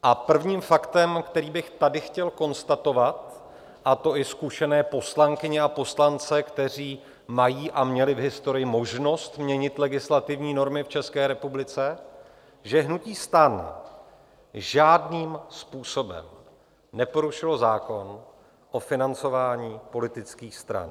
A prvním faktem, který bych tady chtěl konstatovat, a to i zkušené poslankyně a poslance, kteří mají a měli v historii možnost měnit legislativní normy v České republice, že hnutí STAN žádným způsobem neporušilo zákon o financování politických stran.